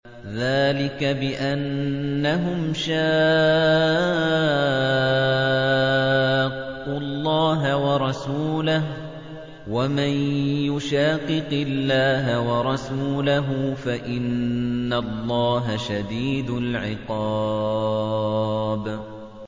ذَٰلِكَ بِأَنَّهُمْ شَاقُّوا اللَّهَ وَرَسُولَهُ ۚ وَمَن يُشَاقِقِ اللَّهَ وَرَسُولَهُ فَإِنَّ اللَّهَ شَدِيدُ الْعِقَابِ